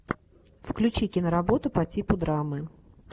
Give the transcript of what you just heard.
включи киноработу по типу драмы